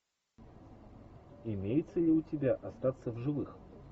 имеется ли у тебя остаться в живых